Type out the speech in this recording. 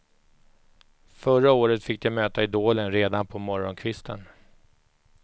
Förra året fick de möta idolen redan på morgonkvisten.